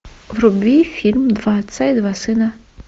вруби фильм два отца и два сына